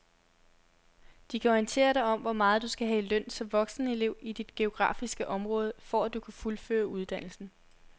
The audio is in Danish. De kan orientere dig om hvor meget du skal have i løn som voksenelev i dit geografiske område, for at du kan fuldføre uddannelsen.